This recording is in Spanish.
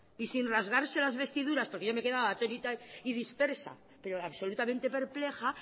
y sin rasgarse las vestiduras porque yo me he quedado atónita y dispersa pero absolutamente perpleja